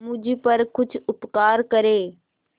मुझ पर कुछ उपकार करें